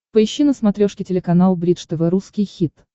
поищи на смотрешке телеканал бридж тв русский хит